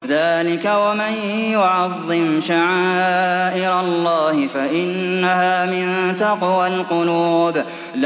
ذَٰلِكَ وَمَن يُعَظِّمْ شَعَائِرَ اللَّهِ فَإِنَّهَا مِن تَقْوَى الْقُلُوبِ